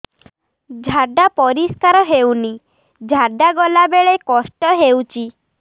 ଝାଡା ପରିସ୍କାର ହେଉନି ଝାଡ଼ା ଗଲା ବେଳେ କଷ୍ଟ ହେଉଚି